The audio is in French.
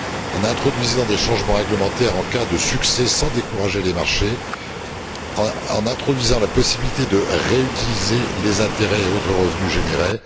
en introduisant des changements réglementaires en cas de succès sans décourager les marchés et en introduisant la possibilité de réutiliser les intérêts et autres revenus générés.